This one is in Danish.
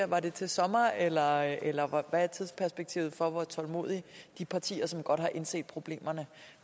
var det til sommer eller eller hvad er tidsperspektivet for hvor tålmodige de partier som godt har indset problemerne